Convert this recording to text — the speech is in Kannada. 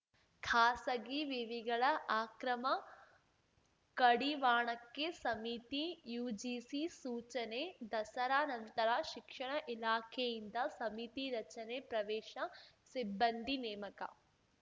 ಖಾಸಗಿ ವಿವಿಗಳ ಅಕ್ರಮ ಕಡಿವಾಣಕ್ಕೆ ಸಮಿತಿ ಯುಜಿಸಿ ಸೂಚನೆ ದಸರಾ ನಂತರ ಶಿಕ್ಷಣ ಇಲಾಖೆಯಿಂದ ಸಮಿತಿ ರಚನೆ ಪ್ರವೇಶ ಸಿಬ್ಬಂದಿ ನೇಮಕ